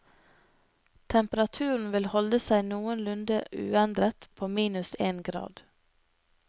Temperaturen vil holde seg noenlunde uendret på minus en grad.